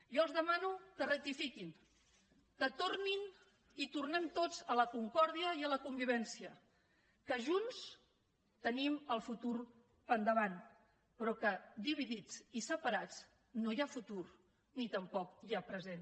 jo els demano que rectifiquin que tornin i tornem tots a la concòrdia i a la convivència que junts tenim el futur per davant però que dividits i separats no hi ha futur ni tampoc hi ha present